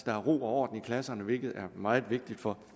er ro og orden i klasserne hvilket er meget vigtigt for